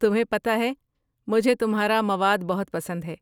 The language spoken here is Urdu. تمہیں پتہ ہے مجھے تمہارا مواد بہت پسند ہے۔